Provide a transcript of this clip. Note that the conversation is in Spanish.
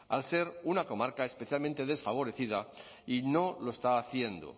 al ser una comarca especialmente desfavorecida y no lo está haciendo